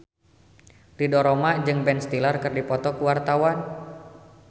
Ridho Roma jeung Ben Stiller keur dipoto ku wartawan